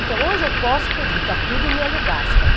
Então, hoje eu posso, porque eu digo, está tudo no Hélio Gaspari.